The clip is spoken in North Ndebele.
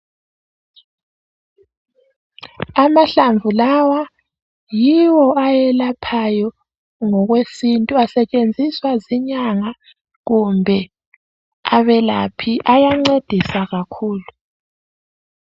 Amahlamvu lawa yiwo ayelaphayo ngokwesintu asetshenziswa zinyanga kumbe abelaphi ayancedisa kakhulu.